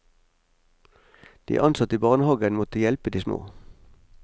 De ansatte i barnehagen må hjelpe de små.